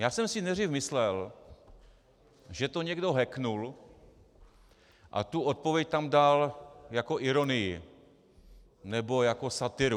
Já jsem si nejdřív myslel, že to někdo hacknul a tu odpověď tam dal jako ironii nebo jako satiru.